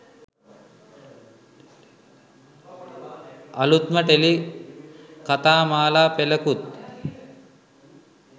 අලුත්ම ටෙලි කතාමාලා පෙළකුත්